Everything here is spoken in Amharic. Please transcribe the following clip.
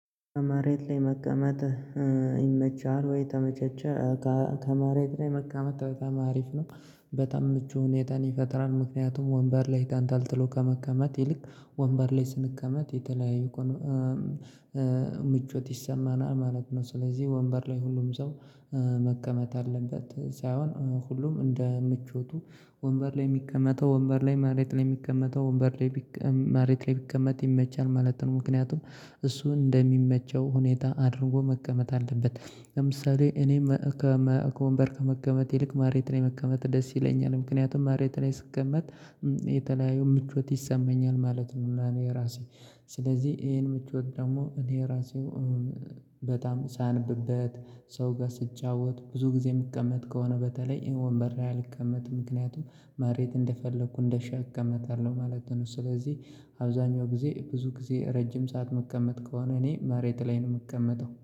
ከመሬት ላይ መቀመጥ ይመቻል ወይ? ተመቸቸ ከመሬት ላይ መቀመጥ በጣም ማሪፍ ነው። በጣም ምቹ ሁኔታን ይፈጥራል። ምክንያቱም ወንበር ላይ ተንጠልጥሎ ከመቀመት ይልቅ ወንበር ላይ ስንቀመጥ የተለያዩ ምቾት ይሰማናል ማለት ነው። ስለዚህ ወንበር ላይ ሁሉም ሰው መቀመጥ አለበት ሳይሆን ሁሉም እንደ ምቾቱ ወንበር ላይ የሚቀመጠው ወንበር ላይ፣ መሬት ላይ የሚቀመጠው ወንበር ላይ ቢቀ መሬት ላይ ቢቀመጥ ይመቻል ማለት ነው። ምክንያቱም እሱ እንደሚመቸው ሁኔታ አድርጎ መቀመጥ አለበት። ለምሳሌ እኔም ከወንበር ከመቀመጥ ይልቅ መሬት ላይ መቀመጥ ደስ ይለኛል። ምክንያቱም መሬት ላይ ስቀመጥ የተለያዩ ምቾት ይሰማኛል። ማለት ነው ለኔ ራሴ። ስለዚህ ይሄን ምቾት ደግሞ እኔ ራሴው በጣም ሳነበት፣ ሰው ጋር ስጫወት፣ ብዙ ጊዜ የምቀመጥ ከሆነ በተለይ ወንበር አልቀመጥም ምክንያቱም መሬት እንደፈለኩ እንደሻ እቀመጣለሁ ማለት ነው። ስለዚህ አብዛኛው ጊዜ ብዙ ጊዜ ረጅም ሰዓት መቀመጥ ከሆነ እኔ መሬት ላይ ነው የምቀመጠው።